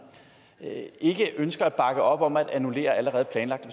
ikke ønsker at bakke op om at annullere allerede planlagte